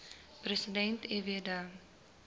president fw de